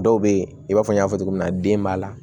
Dɔw be yen i b'a fɔ n y'a fɔ cogo min na den b'a la